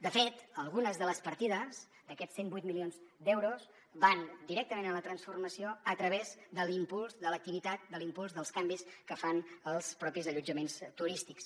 de fet algunes de les partides d’aquests cent i vuit milions d’euros van directament a la transformació a través de l’impuls de l’activitat de l’impuls dels canvis que fan els propis allotjaments turístics